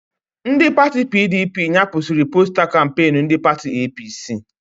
Ndị pati PDP nyapụsiri posta kampeenu ndị pati APC